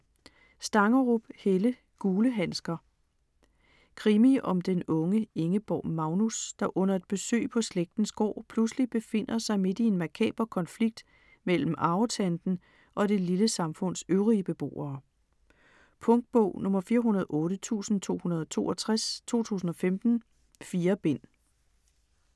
Stangerup, Helle: Gule handsker Krimi om den unge Ingeborg Magnus, der under et besøg på slægtens gård, pludselig befinder sig midt i en makaber konflikt mellem arvetanten og det lille samfunds øvrige beboere. Punktbog 408262 2015. 4 bind.